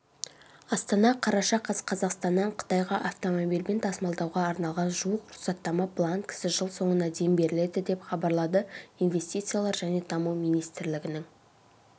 астана қараша қаз қазақстаннан қытайға автомобильмен тасымалдауға арналған жуық рұқсаттама бланкісі жыл соңына дейін беріледі деп хабарлады инвестициялар және даму министрлігінің